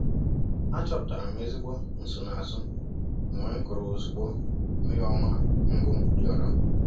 Achọpụtara m ezigbo nsonaazụ mgbe m kụrụ ozugbo mmiri ọma mbụ rịọrọ.